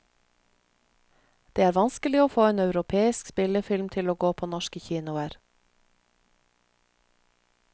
Det er vanskelig å få en europeisk spillefilm til å gå på norske kinoer.